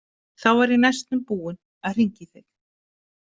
Þá var ég næstum búinn að hringja í þig.